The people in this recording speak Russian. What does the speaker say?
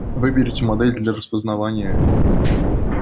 выберите модель для распознавания